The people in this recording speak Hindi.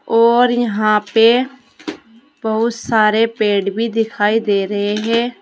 और यहां पे बहुत सारे पेड़ भी दिखाई दे रहे हैं।